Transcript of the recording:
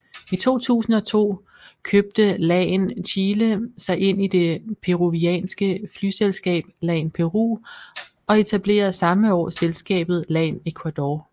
I 2002 købte LAN Chile sig ind i det peruvianske flyselskab LAN Peru og etablerede samme år selskabet LAN Ecuador